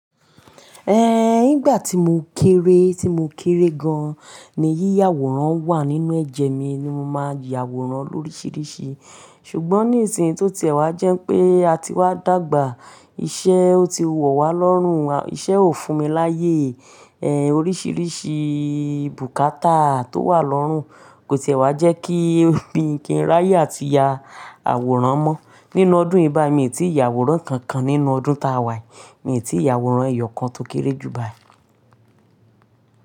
Ehn, nígbà tí mo kéré, tí mo kéré gan-an ni yíyà àwòrán wà nínú ẹ̀jẹ̀ mi ni mo máa ń ya àwòrán lóríṣiríṣi. Ṣùgbọ́n ní ìsìn tó ti ẹ̀ wá jẹ́ pé a ti wá dàgbà, iṣẹ́ ọ ti wọ̀ wá lọ́rùn, iṣẹ́ ò fún mi láyé. Ehn, oríṣiríṣi bùkátà tó wà lọ́rùn kò tì e wá jẹ́ kí n kí n ráyè àti ya àwòrán mọ. Nínú ọdún yìí báyìí mi ò tí ì ya àwòrán kankan. Nínú ọdún ta wà yìí, mi è tí ì ya àwòrán ẹ̀yọ̀ kan tó kéré jù báyìí.